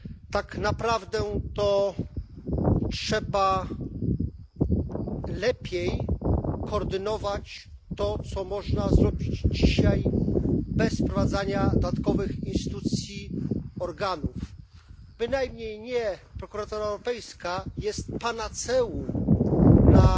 Tak naprawdę to trzeba lepiej koordynować to, co można zrobić dzisiaj bez wprowadzania dodatkowych instytucji czy organów. Bynajmniej nie prokuratura europejska jest panaceum